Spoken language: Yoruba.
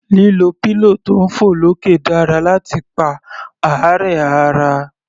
Lílo pillow tí ń fọ̀ lókè dára láti pa àárẹ̀ ara.